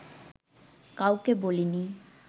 কাউকে বলিনি